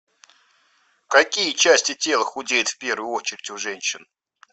какие части тела худеют в первую очередь у женщин